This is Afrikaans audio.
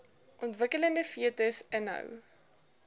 ontwikkelende fetus inhou